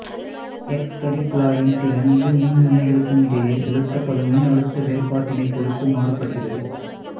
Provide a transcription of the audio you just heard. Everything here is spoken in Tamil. எக்சு கதிர் குழாயின் திறன் இரு மின்முனைகளுக்குமிடையே செலுத்தப்படும் மின்னழுத்த வேறுபாட்டினைப் பொறுத்து மாறுபடுகிறது